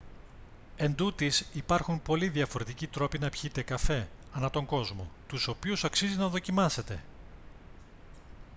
εντούτοις υπάρχουν πολλοί διαφορετικοί τρόποι να πιείτε καφέ ανά τον κόσμο τους οποίους αξίζει να δοκιμάσετε